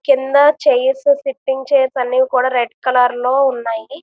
కింద chairs sitting chairs అని కూడా రెడ్ కలరు లో ఉన్నాయి.